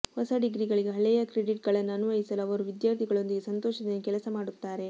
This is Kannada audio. ಹೊಸ ಡಿಗ್ರಿಗಳಿಗೆ ಹಳೆಯ ಕ್ರೆಡಿಟ್ಗಳನ್ನು ಅನ್ವಯಿಸಲು ಅವರು ವಿದ್ಯಾರ್ಥಿಗಳೊಂದಿಗೆ ಸಂತೋಷದಿಂದ ಕೆಲಸ ಮಾಡುತ್ತಾರೆ